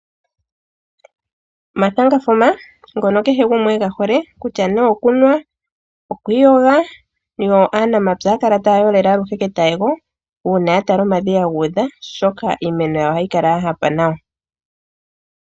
Omathangafuma ngono kehe gumwe ega hole, kutya nee okunwa, noku iyoga. Aanamapya ohaya kala taya yolele aluhe ketayego uuna ya tala omadhiya gu udha, oshoka iimeno yawo ohayi kala ya hapa nawa.